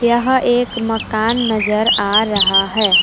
यहां एक मकान नजर आ रहा है।